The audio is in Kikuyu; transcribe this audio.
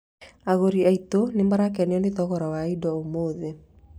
Agũri aitũ nĩ marakenio nĩ thogora wa indo ũmũthĩ